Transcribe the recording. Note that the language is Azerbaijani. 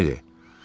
Düzünü de.